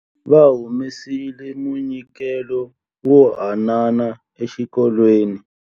Va humesile munyikelo wo hanana exikolweni.